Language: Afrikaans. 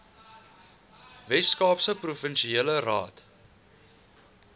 weskaapse provinsiale raad